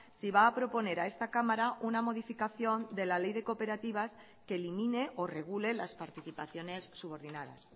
si va a proponer a esta cámara una modificación de la ley de cooperativas que elimine o regule las participaciones subordinadas